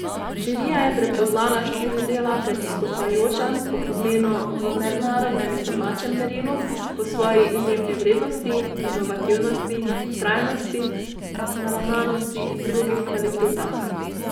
Žirija je prepoznala štiri dela kot izstopajoča po pomenu v mednarodnem in domačem merilu, po svoji izjemni vrednosti, inovativnosti, trajnostni naravnanosti in drugih kvalitetah.